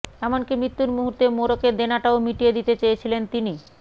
এমনকি মৃত্যুর মুহূর্তে মোরগের দেনাটাও মিটিয়ে দিতে চেয়েছিলেন তিনি